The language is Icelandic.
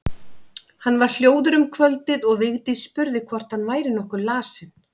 Hann var hljóður um kvöldið og Vigdís spurði hvort hann væri nokkuð lasinn.